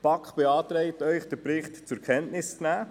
Die BaK beantragt Ihnen, den Bericht zur Kenntnis zu nehmen.